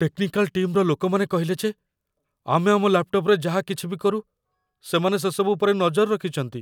Technical ଟିମ୍‌ର ଲୋକମାନେ କହିଲେ ଯେ ଆମେ ଆମ ଲ୍ୟାପ୍‌ଟପ୍‌ରେ ଯାହା କିଛି ବି କରୁ, ସେମାନେ ସେସବୁ ଉପରେ ନଜର ରଖିଚନ୍ତି ।